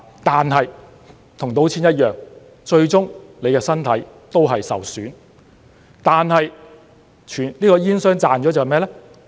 但是，與賭錢一樣，最終你的身體也會受損，而煙商賺的是甚麼呢？